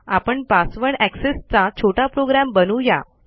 आपण password access चा छोटा प्रोग्रॅम बनवू या